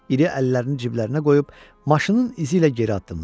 İri əllərini ciblərinə qoyub maşının izi ilə geri addımladı.